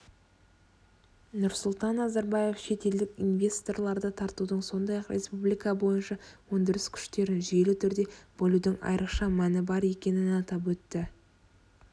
нұрсұлтан назарбаев шетелдік инвесторларды тартудың сондай-ақ республика бойынша өндіріс күштерін жүйелі түрде бөлудің айрықша мәні бар екенін атап өтті